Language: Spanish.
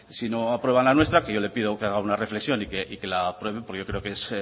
si no aprueban la nuestra que yo le pido que haga una reflexión y que la aprueben porque yo creo que es